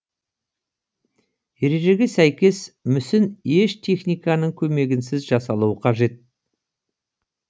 ережеге сәйкес мүсін еш техниканың көмегінсіз жасалуы қажет